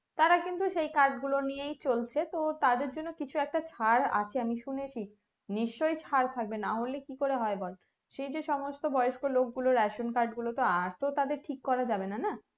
তারা কিন্তু সেই card গুলো নিয়েই চলছে তো তাদের জন্য কিছু একটা চার আছে আমি শুনেছি নিশ্চই ছাড় থাকবে নাহলে কি করে হয় বল সেই যে সমস্ত বয়স্ক লোক গুলোর ration card গুলো তো আর তো তাদের ঠিক করা যাবেনা না